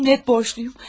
Sizə minnət borcluyum.